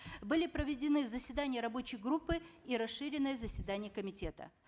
были проведены заседания рабочей группы и расширенное заседание комитета